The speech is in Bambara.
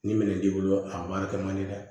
Ni minɛn t'i bolo a baarakɛ man di dɛ